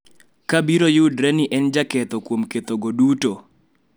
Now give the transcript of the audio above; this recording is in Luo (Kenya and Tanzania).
Ka biro yudre ni en jaketho kuom kethogo duto,